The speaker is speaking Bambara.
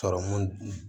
Sɔrɔmu